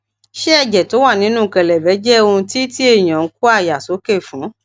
ṣé ẹjẹ tó wà nínú kelebe jẹ ohun ti ti eyan n ko aya soke fun